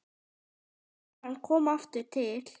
Þegar hann kom aftur til